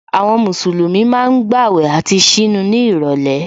Àwọn Mùsùlùmí ma ń gbàwẹ̀ àti ṣínu ní ìrọ̀lẹ́